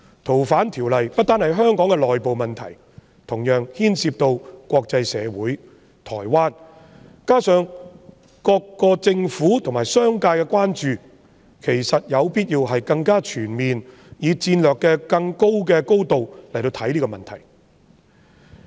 《逃犯條例》不單是香港的內部問題，同時牽涉到國際社會和台灣，加上各地政府和商界的關注，其實有必要更全面地，以更高的戰略高度來看待這個問題。